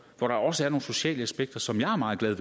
hvor der også er nogle sociale aspekter som jeg er meget glad